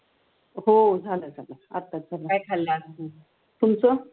हो जाला झाला आताच झाला तुमचं?